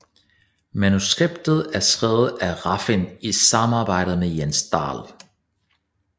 Manuskriptet er skrevet af Refn i samarbejde med Jens Dahl